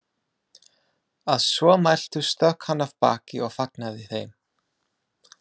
Að svo mæltu stökk hann af baki og fagnaði þeim.